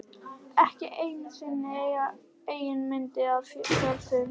Ekki einu sinni eigin mynd af sjálfum mér.